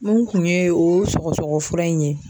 N kun ye o sɔgɔsɔgɔfura in ye